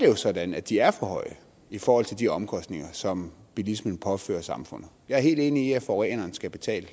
jo sådan at de er for høje i forhold til de omkostninger som bilismen påfører samfundet jeg er helt enig i at forureneren skal betale